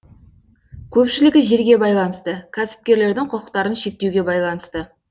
көпшілігі жерге байланысты кәсіпкерлердің құқықтарын шектеуге байланысты